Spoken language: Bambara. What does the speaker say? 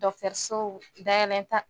so dayɛlɛnta.